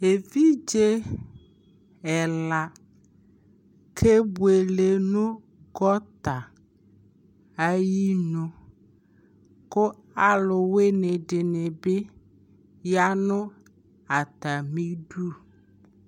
ɛvidzɛ ɛla kɛ bʋɛlɛ nʋ gɔta ayinʋ kʋ alʋwini dinibi yanʋ atami idʋ